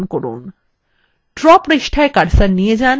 draw পৃষ্ঠায় cursor নিয়ে যান